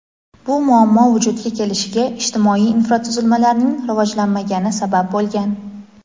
bu muammo vujudga kelishiga ijtimoiy infratuzilmalarning rivojlanmagani sabab bo‘lgan.